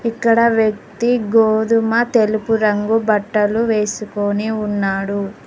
ఇక్కడ వ్యక్తి గోధుమ తెలుపు రంగు బట్టలు వేసుకుని ఉన్నాడు.